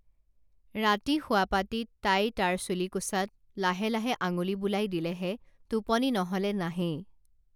ৰাতি শোৱাপাটিত তাই তাৰ চুলিকোছাত লাহে লাহে আঙুলি বুলাই দিলেহে টোপনি নহলে নাহেই